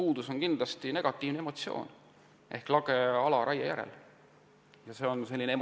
Puuduseks on kindlasti negatiivne emotsioon, mida raiejärgne lage ala tekitab.